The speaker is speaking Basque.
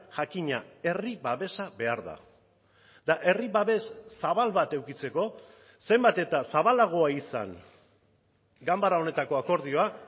jakina herri babesa behar da eta herri babes zabal bat edukitzeko zenbat eta zabalagoa izan ganbara honetako akordioa